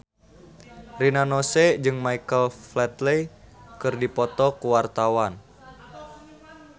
Rina Nose jeung Michael Flatley keur dipoto ku wartawan